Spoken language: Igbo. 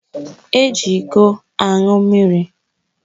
Eji ịkọ aṅụ mmiri.